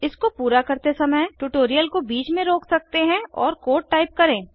इसको पूरा करते समय ट्यूटोरियल को बीच में रोक सकते हैं और कोड टाइप करें